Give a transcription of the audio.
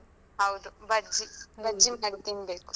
ಹೌದು ಬಜ್ಜಿ ಬಜ್ಜಿ ಮಾಡಿ ತಿನ್ಬೇಕು.